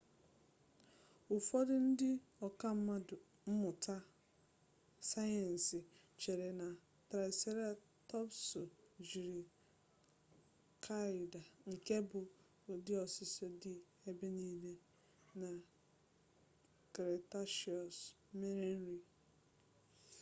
ụfọdụ ndị ọka mmụta sayensị chere na traịseratọpsụ jiri kaịad nke bụ ụdị osisi dị ebe nile na kretashiọs mere nri